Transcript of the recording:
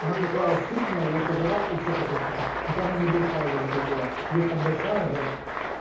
она такая сытная я сожрал и всё такой типа хоть она небольшая вроде как была есть там большая за